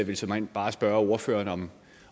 vil såmænd bare spørge ordføreren